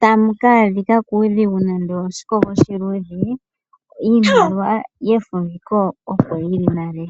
tamu ka adhika kuudhigu nande owo oshikogo oshiluudhe iimaliwa yefumbiko opo yili nale.